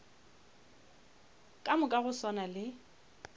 ka moka go swana le